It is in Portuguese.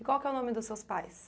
E qual que é o nome dos seus pais?